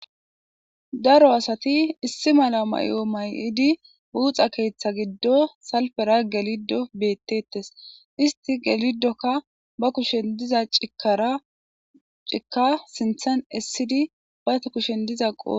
Daro asati issi mala may'o may'idi buuxa keeththa giddo salpera gelido bettettes isti gelidokka ba kushen diza cikara cika sinthan essidi bata kushen diza qoo